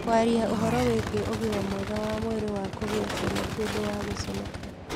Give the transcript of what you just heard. Kwaria ũhoro wĩgiĩ ũgima mwega wa mwĩrĩ wa kũgĩa ciana ti ũndũ wa gũconoka.